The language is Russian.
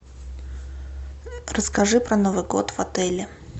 расскажи про новый год в отеле